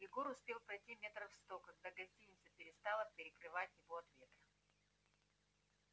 егор успел пройти метров сто когда гостиница перестала перекрывать его от ветра